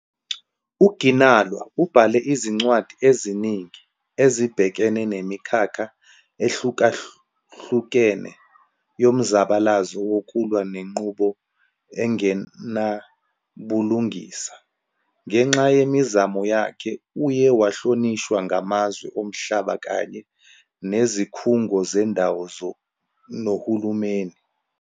UGinwala ubhale izincwadi eziningi ezibhekene nemikhakha ehlukahlukene yomzabalazo wokulwa nenqubo engenabulungisa. Ngenxa yemizamo yakhe, uye wahlonishwa ngamazwe omhlaba kanye nezikhungo zendawo nohulumeni.